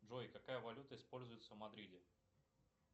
джой какая валюта используется в мадриде